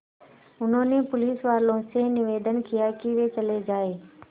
उन्होंने पुलिसवालों से निवेदन किया कि वे चले जाएँ